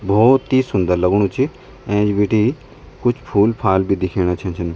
भौत ही सुन्दर लगणू च ऐंच बटीं कुछ फूल फाल बि दिखेणा छै छन।